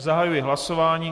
Zahajuji hlasování.